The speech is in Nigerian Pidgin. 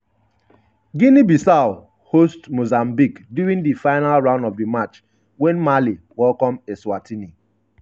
guinea-bissau host mozambique during di final round of di match wen mali welcome eswatini.